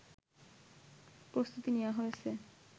প্রস্তুতি নেওয়া হয়েছে